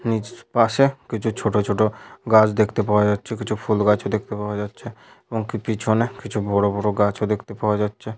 পাশে কিছু ছোট ছোট গাছ দেখতে পাওয়া যাচ্ছে। কিছু ফুল গাছ ও দেখতে পাওয়া যাচ্ছে ।এমনকি পিছনে কিছু বড়োবড়ো গাছ ও দেখতে পাওয়া যাচ্ছে --